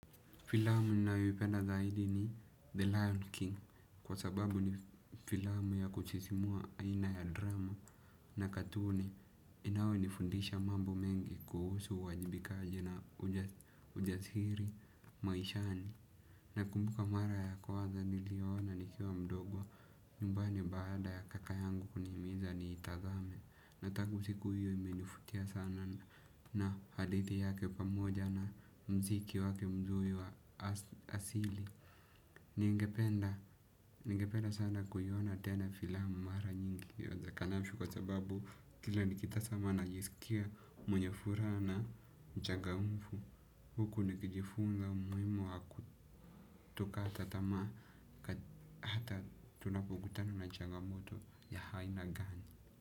Filamu ninayoipenda zaidi ni The Lion King kwa sababu ni filamu ya kusisimua aina ya drama na katuni inao nifundisha mambo mengi kuhusu uwajibikaji na ujasiri maishani. Nakumbuka mara ya kuwaza niliona nikiwa mdogo nyumbani baada ya kaka yangu kunihimiza niitazame. Na tangu siku hiyo imenivutia sana na hadithi yake pamoja na mziki wake mzuri wa asili. Ningependa sana kuiona tena filamu mara nyingi iwezenavyo kwa sababu kila nikitazama najisikia mwenye furaha na mchangamfu. Huku nikijifunza umuhimu wa kutokata tamaa. Hata tunapokutana na changamoto ya aina gani.